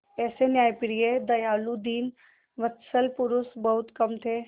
ऐसे न्यायप्रिय दयालु दीनवत्सल पुरुष बहुत कम थे